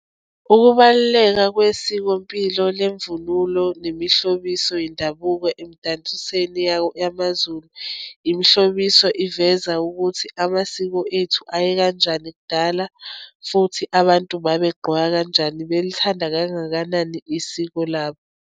Ukubaluleka kwesikompilo lemvunulo nemihlobiso yendabuko emdansisweni yawo, yamaZulu, imihlobiso iveza ukuthi amasiko ethu aye kanjani kudala, futhi abantu babegqoka kanjani, belithanda kangakanani isiko labo.